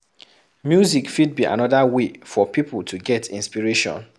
Music fit be anoda way for pipo to get inspiration